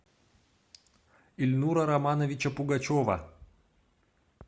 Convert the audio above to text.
ильнура романовича пугачева